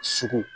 Sugu